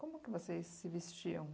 Como que vocês se vestiam